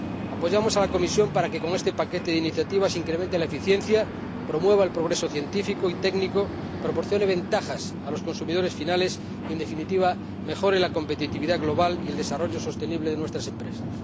Apoyamos a la Comisión para que con este paquete de iniciativas se incremente la eficiencia, se promueva el progreso científico y técnico, se proporcione ventajas a los consumidores finales y, en definitiva, se mejore la competitividad global y el desarrollo sostenible de nuestras empresas.